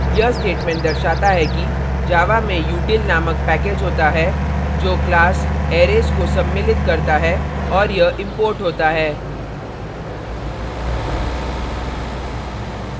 यह statement दर्शाता है कि java में util नामक package होता है जो class arrays को सम्मिलित करता है और यह imported होता है